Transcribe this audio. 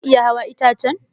Zaki iya hawan itace?